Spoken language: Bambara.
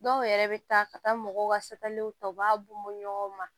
Dɔw yɛrɛ bɛ taa ka taa mɔgɔw ka safaliw ta u b'a b'u ɲɔgɔn ma